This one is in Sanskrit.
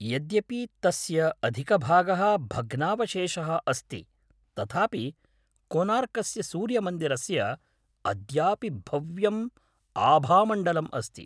यद्यपि तस्य अधिकभागः भग्नावशेषः अस्ति तथापि कोनार्कस्य सूर्यमन्दिरस्य अद्यापि भव्यम् आभामण्डलम् अस्ति।